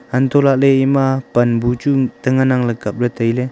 anto lahle ema pan bu ta ngan nang le kaple taile.